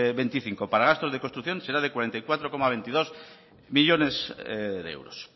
veinticinco para gastos de construcción será de cuarenta y cuatro coma veintidós millónes de euros